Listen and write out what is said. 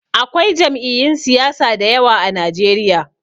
Akwai jam'iyun siyasa da yawa a Najeriya.